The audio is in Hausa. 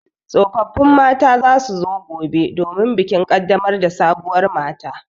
Tsofaffin mata za su zo gobe domin bikin ƙaddamar da sabuwar mata.